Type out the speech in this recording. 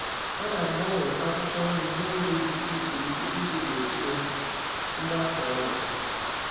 A na-agbanwe akwụkwọ nri n’oge dị iche iche iji gbochie mgbasa ọrịa.